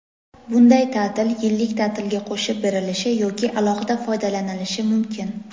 Bunday ta’til yillik ta’tilga qo‘shib berilishi yoki alohida foydalanilishi mumkin.